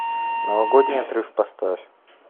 новогодний отрыв поставь